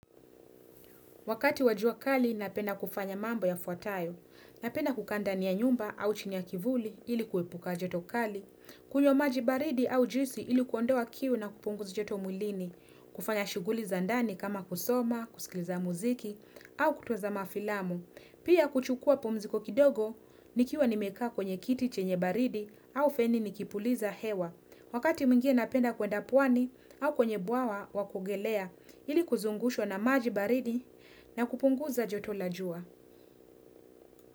Wakati wa jua kali napenda kufanya mambo yafuatayo, napenda kukaa ndani ya nyumba au chini ya kivuli ili kuepuka joto kali, kunywa maji baridi au juisi ili kuondoa kiu na kupunguza joto mwilini, kufanya shughuli za ndani kama kusoma, kusikiza mziki au kutazama filamu. Pia kuchukua pumziko kidogo, nikiwa nimekaa kwenye kiti chenye baridi au feni nikipuliza hewa. Wakati mwingine napenda kwenda pwani au kwenye bwawa wa kuogelea ili kuzungushwa na maji baridi na kupunguza joto la jua.